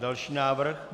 Další návrh.